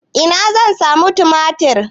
Ina zan samu tumatir?